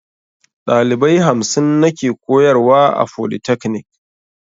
Dalibai hamsin nake koyarwa a folitakanik